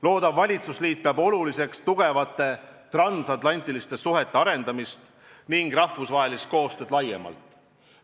Loodav valitsusliit peab oluliseks tugevate transatlantiliste suhete arendamist ning rahvusvahelist koostööd laiemalt.